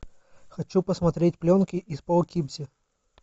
хочу посмотреть пленки из поукипзи